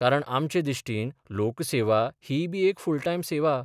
कारण आमचे दिश्टीन लोकसेवा हीयबी एक फुल टायम सेवा.